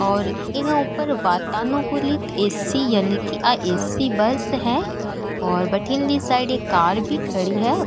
और इ के ऊपर वातानुकूलित ए सी यानी कि या ए सी बस है ओर बठीने ली साइड एक कार भी खड़ी है।